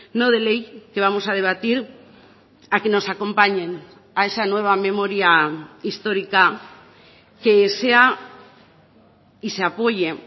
no de ley que vamos a debatir a que nos acompañen a esa nueva memoria histórica que sea y se apoye